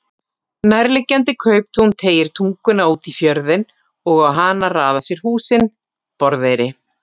Nærliggjandi kauptún teygir tunguna út í fjörðinn og á hana raða sér húsin: Borðeyri.